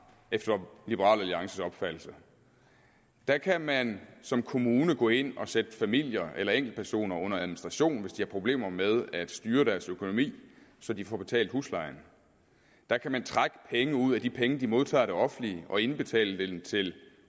efter liberal alliances opfattelse der kan man som kommune gå ind og sætte familier eller enkeltpersoner under administration hvis de har problemer med at styre deres økonomi så de får betalt huslejen der kan man trække pengene ud af de penge de modtager af det offentlige og indbetale dem til